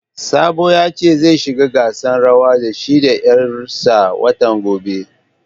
Sabo ya ce zai shiga gasan rawan da shi da 'yar sa watan gobe